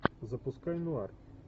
запускай нуар